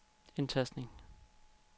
indtastning